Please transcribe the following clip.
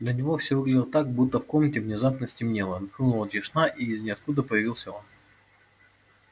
для него всё выглядело так будто в комнате внезапно стемнело нахлынула тишина и из ниоткуда появился он